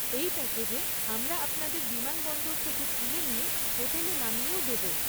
এই প্যাকেজে আমরা আপনাদের বিমানবন্দর থেকে তুলে নিয়ে হোটেলে নামিয়েও দেব।